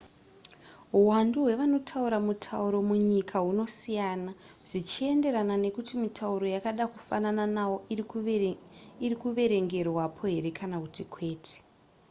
huwandu hwevanotaura mutauro munyika hunosiyana zvichienderana nekuti mitauro yakada kufanana nawo iri kuverengerwapo here kana kuti kwete